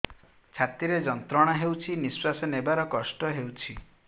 ଛାତି ରେ ଯନ୍ତ୍ରଣା ହେଉଛି ନିଶ୍ଵାସ ନେବାର କଷ୍ଟ ହେଉଛି